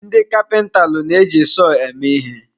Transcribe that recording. Ndị kapintalụ na-eji sọọ eme ihe.